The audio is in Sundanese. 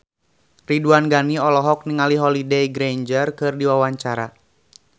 Ridwan Ghani olohok ningali Holliday Grainger keur diwawancara